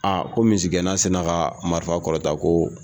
Aa ko misigɛnna sinna ka marifa kɔrɔta ko